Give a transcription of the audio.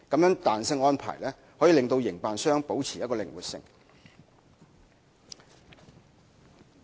此彈性安排可令營辦商保持靈活性。